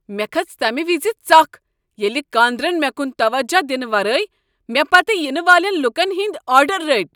مےٚ کھٔژ تمہ وز ژکھ ییٚلہ کاندرن مےٚ کُن توجہ دنہ ورٲے مےٚ پتہٕ ینہٕ والین لوکن ہنٛدۍ آرڈر رٔٹۍ۔